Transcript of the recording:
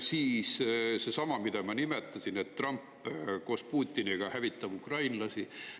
Siis seesama, mida ma nimetasin, et Trump koos Putiniga pidavat hävitama ukrainlasi.